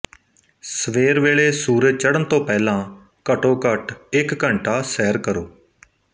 ਸਵੇਰ ਵੇਲੇ ਸੂਰਜ ਚੜ੍ਹਨ ਤੋਂ ਪਹਿਲਾਂ ਘੱਟੋਘੱਟ ਇੱਕ ਘੰਟਾ ਸੈਰ ਕਰੋ